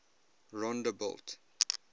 rondebult